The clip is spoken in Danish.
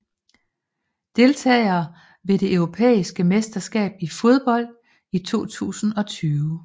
Deltagere ved det europæiske mesterskab i fodbold 2020